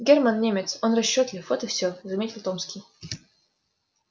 германн немец он расчётлив вот и все заметил томский